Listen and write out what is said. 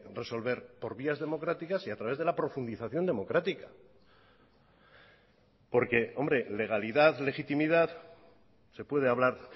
resolver por vías democráticas y a través de la profundización democrática porque hombre legalidad legitimidad se puede hablar